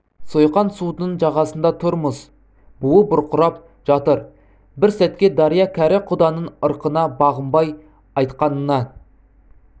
сойқан судың жағасында тұрмыз буы бұрқырап жатыр бір сәтке дария кәрі құданың ырқына бағынбай айтқанына